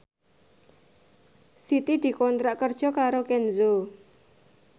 Siti dikontrak kerja karo Kenzo